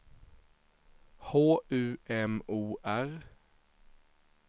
H U M O R